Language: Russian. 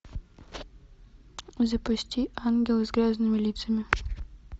запусти ангелы с грязными лицами